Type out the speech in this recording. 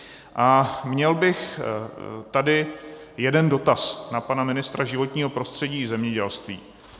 A měl bych tady jeden dotaz na pana ministra životního prostředí i zemědělství.